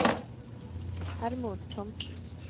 Hermod Thomsen